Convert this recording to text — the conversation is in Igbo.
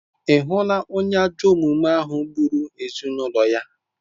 Ị hụla onye ajọ omume ahụ gburu ezinụlọ ya?